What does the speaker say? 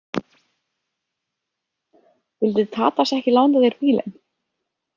Vildi Tadas ekki lána þér bílinn?